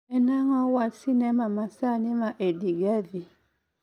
En ang'o wach ma sinema masani ma edie gathie